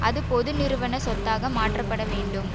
அது பொது நிறுவன சொத்தாக மாற்றப்பட வேண்டும்